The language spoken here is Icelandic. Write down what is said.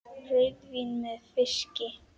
Rauðvín með fiski?